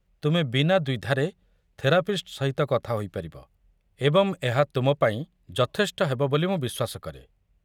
ତୁମେ ବିନା ଦ୍ୱିଧାରେ ଥେରାପିଷ୍ଟ ସହିତ କଥା ହୋଇପାରିବ ଏବଂ ଏହା ତୁମ ପାଇଁ ଯଥେଷ୍ଟ ହେବ ବୋଲି ମୁଁ ବିଶ୍ୱାସ କରେ।